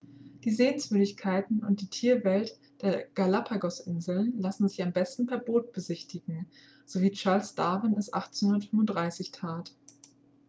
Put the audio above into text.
die sehenswürdigkeiten und die tierwelt der galapagosinseln lassen sich am besten per boot besichtigen so wie charles darwin es 1835 tat